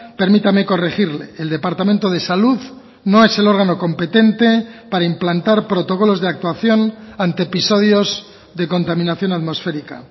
permítame corregirle el departamento de salud no es el órgano competente para implantar protocolos de actuación ante episodios de contaminación atmosférica